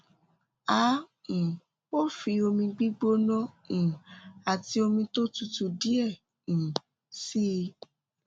a um ó fi omi gbígbóná um àti omi tó tutù díẹ um sí i